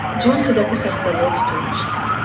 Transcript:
Consi də bu xəstəliyə tutulmuşdu.